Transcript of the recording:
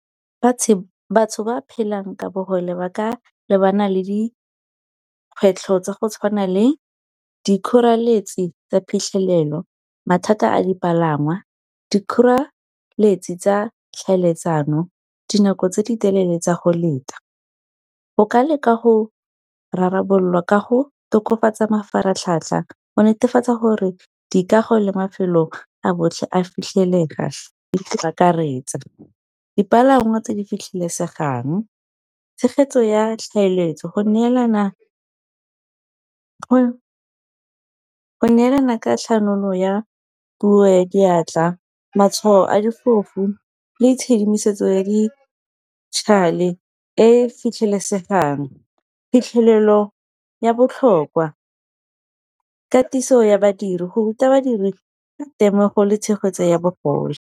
Batho ba phelang ka bogole ba ka lebana le dikgwetlho tsa go tshwana le dikgoreletsi tsa phitlhelelo mathata a dipalangwa, dikgoreletsi tsa tlhaeletsano, dinako tse di telele tsa go leta. Go ka lekwa go rabololwa ka go tokafatsa mafaratlhatlha go netefatsa gore dikago le mafelo a botlhe a fitlhelega akaretsa. Dipalangwa tse di fitlhelesegang tshegetso ya tlhaeletso go neelana ka tlhanolo ya puo ya diatla, matshwao a difofu, le tshedimosetso ya e e fitlhelesegang. Phitlhelelo ya botlhokwa katiso ya badiri go ruta badiri temogo le tshegetso ya bogole.